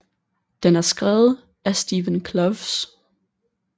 Den er skrevet af Steven Kloves